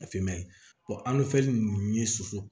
A finman in an bɛ fɛn ninnu ye suso